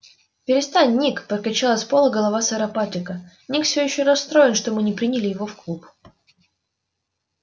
перестань ник прокричала с пола голова сэра патрика ник всё ещё расстроен что мы не приняли его в клуб